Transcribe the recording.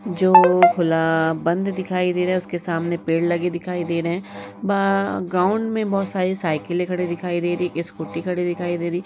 जो > खुला बंद दिखाई दे रहा है उसके सामने पेड़ लगे दिखाई दे रहे हैं। बा ग्राउंड में बहोत सारी साइकिलें खड़ी दिखाई दे रही हैं। । एक स्कूटी खड़ी दिखाई दे रही है।